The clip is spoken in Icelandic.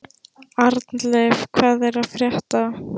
Arnleif, hvað er að frétta?